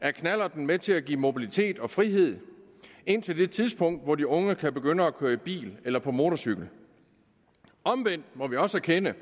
er knallerten med til at give mobilitet og frihed indtil det tidspunkt hvor de unge kan begynde at køre i bil eller på motorcykel omvendt må vi også erkende